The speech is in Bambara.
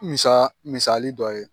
Misaa misali dɔ ye